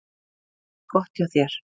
Gott hjá þér!